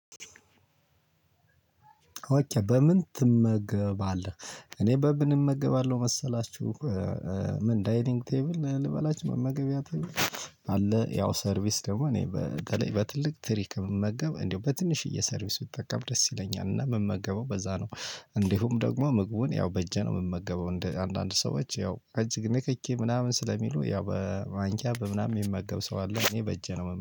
ኦኬ በምን ትመገባለህ እኔ በምን እመገባለሁ መሰላችሁ ምን ዳይሊንግ ቴብል ልበላችሁ መመገቢያ ቴብል። አለ ያው ሰርቪስ ደግሞ እኔ በተለይ በትልቅ ትሪክ ከምመገብ እንደው በትንሽዬ ሰርቪስ ብጠቀም ደስ ይለኛል እና የምመገበው በዛ ነው። እንዲሁም ደግሞ ምግቡን ያው በእጄ ነው የምመገበው እንደ አንዳንድ ሰዎች ያው እጅ ንክኪ ምናምን ስለሚሉ ያው በማንኪያ በምናምን የሚመገብ ሰው አለ። እኔ በእጄ ነው